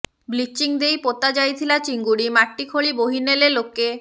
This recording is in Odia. ବ୍ଲିଚିଂ ଦେଇ ପୋତା ଯାଇଥିଲା ଚିଙ୍ଗୁଡ଼ି ମାଟି ଖୋଳି ବୋହି ନେଲେ ଲୋକେ